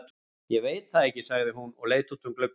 Ég veit það ekki, sagði hún og leit út um gluggann.